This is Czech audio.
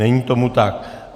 Není tomu tak.